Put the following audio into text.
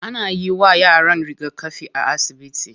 Ana yiwa yaran rigakafi a asibiti.